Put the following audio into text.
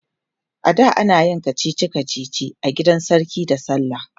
ada anayin kachichi kachichi a gidan sarki da sallah